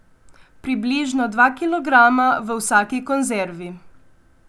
Približno dva kilograma v vsaki konzervi.